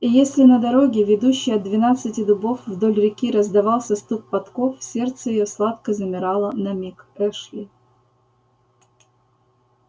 и если на дороге ведущей от двенадцати дубов вдоль реки раздавался стук подков сердце её сладко замирало на миг-эшли